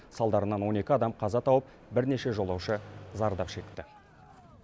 салдарынан он екі адам қаза тауып бірнеше жолаушы зардап шекті